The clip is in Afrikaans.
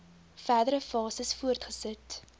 verdere fases voortgesit